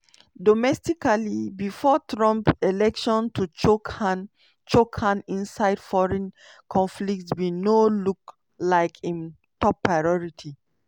domestically before trump election to chook hand chook hand inside foreign conflicts bin no look like im top priority.